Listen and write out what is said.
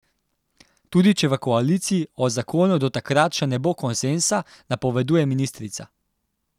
Tudi če v koaliciji o zakonu do takrat še ne bo konsenza, napoveduje ministrica.